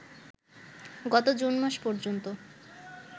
গত জুন মাস পর্যন্ত